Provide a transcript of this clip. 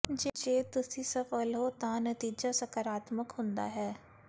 ਜੇ ਤੁਸੀਂ ਸਫ਼ਲ ਹੋ ਤਾਂ ਨਤੀਜਾ ਸਕਾਰਾਤਮਕ ਹੁੰਦਾ ਹੈ